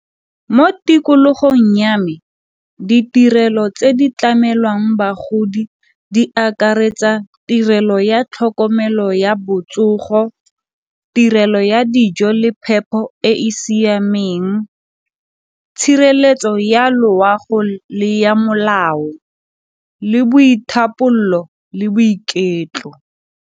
Mo tikologong ya me ditirelo tse di tlamelwang bagodi di akaretsa tirelo ya tlhokomelo ya botsogo, tirelo ya ya dijo le phepho e e siameng, tshireletso ya loago le ya molao le le boiketlo.